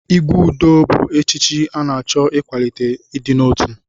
Igwe Udo bụ echichi na-achọ ịkwalite ịdị n'otu.